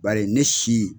Bari ne si